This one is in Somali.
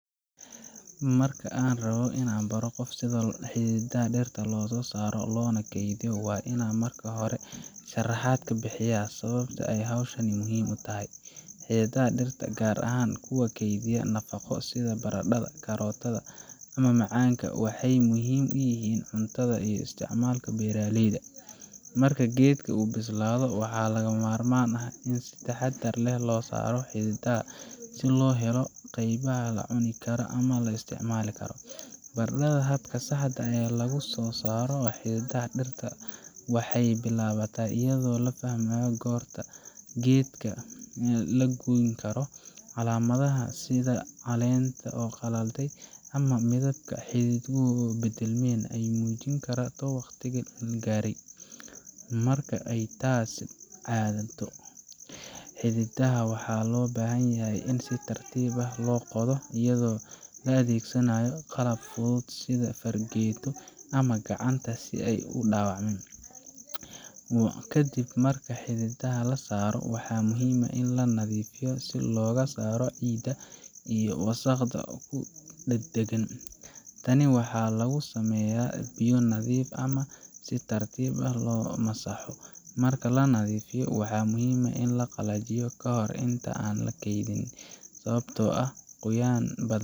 Marka aad rabto inaad qof baro sida xididdada dhirta loo saaro loona kaydiyo, waa inaad marka hore sharaxaad ka bixisaa sababta ay hawshani muhiim u tahay. Xididdada dhirta, gaar ahaan kuwa kaydiya nafaqo sida baradhada, karootada ama macaanka, waxay muhiim u yihiin cuntada iyo isticmaalka beeraleyda. Marka geedkan uu bislaado, waxaa lagama maarmaan ah in si taxaddar leh loo saaro xididdada si loo helo qaybaha la cuni karo ama la isticmaali karo. Barashada habka saxda ah ee laga soo saaro xididdada dhirta waxay bilaabataa iyadoo la fahmo goorta geedka la goyn karo. Calaamadaha sida caleenta oo qalalay ama midabka xididku is beddelmen ayaa muujin kara in waqtigu gaaray. Marka ay taasi caddaato, xididdada waxaa loo baahan yahay in si tartiib ah loo qodo, iyadoo la adeegsado qalab fudud sida fargeeto ama gacanta, si aanay u dhaawacmin. Kadib marka xididdada la saaro, waxaa muhiim ah in la nadiifiyo si looga saaro ciidda iyo wasakhda ku dhagan. Tani waxaa lagu sameeyaa biyo nadiif ah ama in si tartiib ah loo masaxo. Marka la nadiifiyo, waxaa muhiim ah in la qalajiyo kahor inta aan la keydin, sababtoo ah qoyaan